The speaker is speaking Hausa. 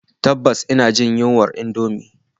Tabbas ina jin yunwar indomie